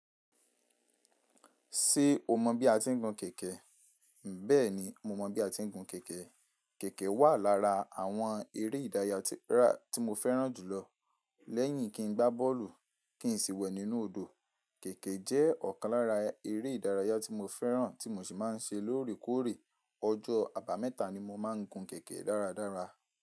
Ṣé o mọ bí a ti ń gun kẹ̀kẹ́? Bẹ́ẹ̀ ni, mo mọ bí a ti ń gun kẹ̀kẹ́. Kẹ̀kẹ́ wà lára àwọn eré ìdárayá tí mo fẹ́ràn jù lọ. Lẹ́yìn kí n gbá bọ́ọ̀lù, kí n sì wẹ̀ nínú odò, kẹ̀kẹ́ jẹ́ ọ̀kan lára eré ìdárayá tí mo fẹ́ràn tí mo sì máa ń ṣe lóòrèkóòrè. Ọjọ́ àbámẹ́ta ni mo máa ń gun kẹ̀kẹ́ dáradára.